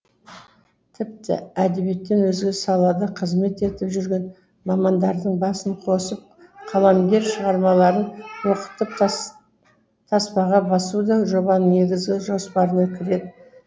тіпті әдебиеттен өзге салада қызмет етіп жүрген мамандардың басын қосып қаламгерлер шығармаларын оқытып таспаға басу да жобаның негізгі жоспарына кіреді